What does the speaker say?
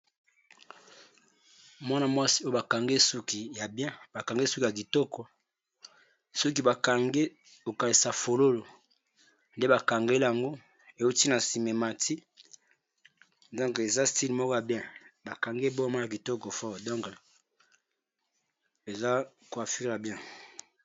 Mwana-mwasi oyo bakangi suki ya bien bakange suki ya kitoko soki bakange kokanisa fololo nde bakange yango ewuti na sima ematie donc eza style moko bien bakange bord moko ya kitoko fort donc eza coiffure moko ya bien.